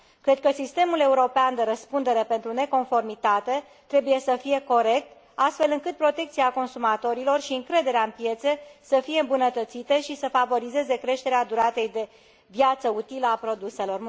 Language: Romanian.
Cred că sistemul european de răspundere pentru neconformitate trebuie să fie corect, astfel încât protecția consumatorilor și încrederea în piețe să fie îmbunătățite și să favorizeze creșterea duratei de viață utilă a produselor.